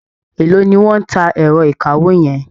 Élòó ni wọ́n ń ta ẹ̀rọ ìkawó yẹn?